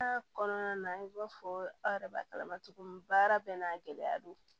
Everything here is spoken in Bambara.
kɔnɔna na i b'a fɔ aw yɛrɛ b'a kalama cogo min baara bɛɛ n'a gɛlɛya don